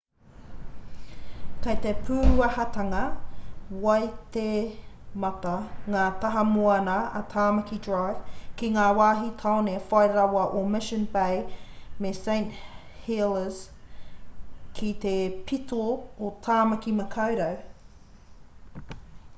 kei te pūahatanga waitemata ngā taha moana o tamaki drive ki ngā wāhi tāone whai rawa o mission bay me st heliers ki te pito o tāmaki makaurau